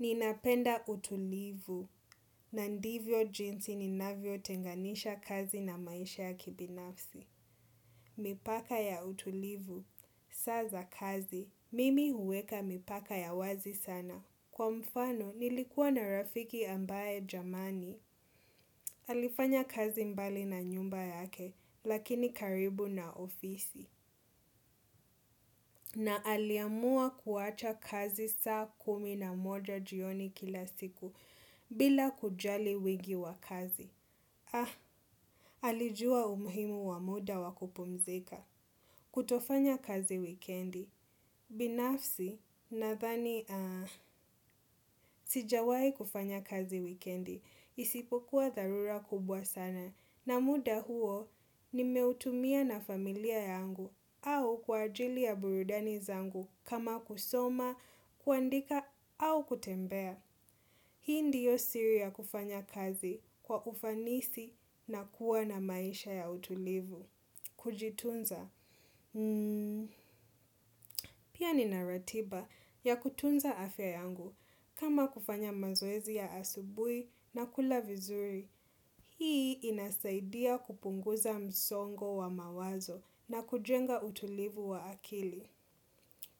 Ninapenda utulivu, na ndivyo jinsi ninavyotenganisha kazi na maisha ya kibinafsi. Mipaka ya utulivu, saa za kazi, mimi huweka mipaka ya wazi sana. Kwa mfano, nilikuwa na rafiki ambaye jamani, alifanya kazi mbali na nyumba yake, lakini karibu na ofisi. Na aliamua kuwacha kazi saa kumi na moja jioni kila siku bila kujali wingi wa kazi. Ah, alijua umuhimu wa muda wa kupumzika. Kutofanya kazi wikendi. Binafsi ninadhani, ah, sijawai kufanya kazi wikendi isipokuwa dharura kubwa sana. Na muda huo nimeutumia na familia yangu au kwa ajili ya burudani zangu kama kusoma, kuandika au kutembea. Hii ndiyo siri ya kufanya kazi kwa ufanisi na kuwa na maisha ya utulivu. Kujitunza. Pia nina ratiba ya kutunza afya yangu kama kufanya mazoezi ya asubui na kula vizuri. Hii inasaidia kupunguza msongo wa mawazo na kujenga utulivu wa akili.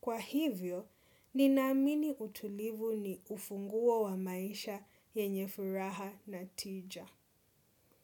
Kwa hivyo, ninaamini utulivu ni ufunguo wa maisha yenye furaha na tija.